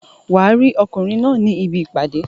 Wàá rí ọkùnrin náà ní ibi ìpàdé